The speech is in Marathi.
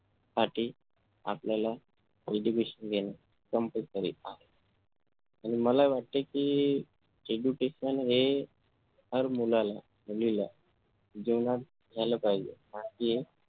साठी आपल्याला education घेणे compulsory आहे. आणि मला वाटतंय कि education हे हर मुलाला मुलीला दोनास झाले पाहिजे